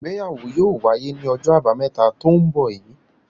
Ìgbéyàwó yóò wáyé ní ọjọ́ àbámẹ́ta tó ń bọ̀ yìí.